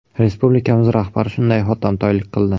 Respublikamiz rahbari shunday hotamtoylik qildi.